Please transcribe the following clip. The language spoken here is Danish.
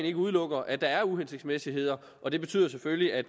ikke udelukker at der er uhensigtsmæssigheder og det betyder selvfølgelig at